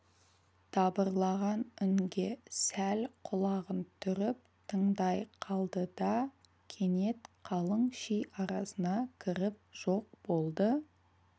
дабырлаған үнге сәл құлағын түріп тыңдай қалды да кенет қалың ши арасына кіріп жоқ болды